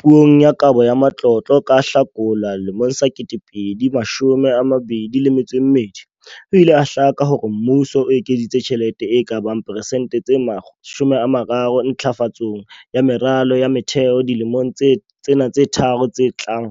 Puong ya Kabo ya Matlotlo ka Hlakola 2022, ho ile ha hlaka hore mmuso o ekeditse tjhelete e ka bang persente tse 30 ntlafatsong ya meralo ya motheo dilemong tsena tse tharo tse tlang